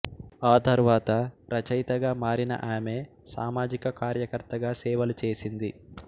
ఆ తరువాత రచయితగా మారిన ఆమె సామాజిక కార్యకర్తగా సేవలు చేసింది